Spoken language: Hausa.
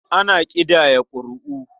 Ana ƙidaya ƙuri'u.